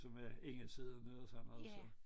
Som er ingen sidder ned og sådan noget så